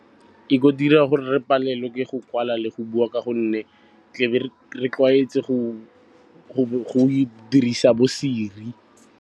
Ke go dira gore re palelwe ke go kwala le go bua ka gonne tla be re tlwaetse go dirisa bo-Siri.